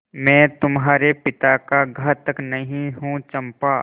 मैं तुम्हारे पिता का घातक नहीं हूँ चंपा